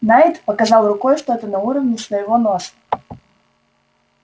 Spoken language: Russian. найд показал рукой что-то на уровне своего носа